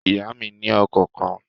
Ìyá mí ni ọkọ̀ kan